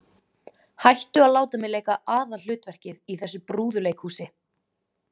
Hættu að láta mig leika aðalhlutverkið í þessu brúðuleikhúsi.